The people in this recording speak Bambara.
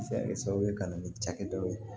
Se kɛ sababu ye ka na ni cakɛdaw ye